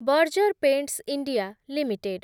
Berger paints India limited